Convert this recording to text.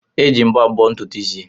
Eji mbọ abọ́ ntutu isi.